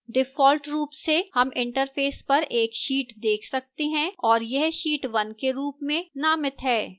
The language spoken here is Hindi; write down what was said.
default रूप से हम interface पर एक sheet देख सकते हैं और यह sheet 1 के रूप में नामित है